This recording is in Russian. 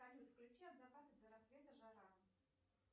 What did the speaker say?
салют включи от заката до рассвета жара